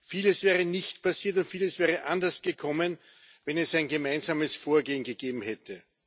Vieles wäre nicht passiert und vieles wäre anders gekommen, wenn es ein gemeinsames Vorgehen gegeben hätte.